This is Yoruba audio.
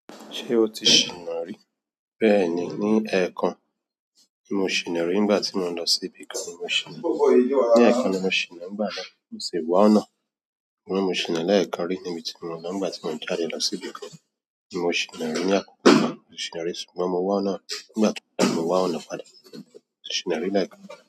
Ṣé o ti ṣìnà rí? Bẹ́ẹ̀ni, ní ẹ̀ẹ̀kan ni mo ṣìnà rí nígbà tí mo ń lọ sí ibì kan ni mo ṣìnà rí. Ní ẹ̀ẹ̀kan ni mo ṣìnà, nígbà náà kì í ṣe wá ọ̀nà. Mo ṣìnà lẹ́ẹ̀kan rí níbi tí mo lọ nígbà tí mò ń jáde lọ sí ibì kan ni mo ṣìnà rí ní àkókò kan mo ṣìnà rí ṣùgbọ́n mo wá ọ̀nà nígbà tí mò ń dára mo wá ọ̀nà padà mo ṣìnà rí lẹ́ẹ̀kan.